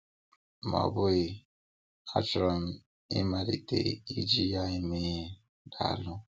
Ma ọ bụghị, a chọrọ m ịmalite iji ya eme ihe! Daalụ